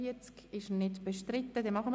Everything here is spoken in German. – Das ist nicht der Fall.